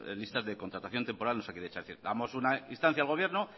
listas de contratación temporal de osakidetza es decir damos una instancia al gobierno